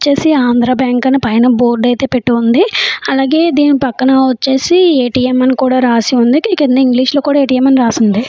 చేసి ఆంధ్ర బ్యాంక్ అని పైన బోర్డు అయితే పెట్టు ఉంది. అలాగే దీని పక్కన వచ్చేసి ఏటీఎం అని కూడా రాసి ఉంది. దీని కింద ఇంగ్లీషు లో కూడా ఎటిఎం అని రాసుంది .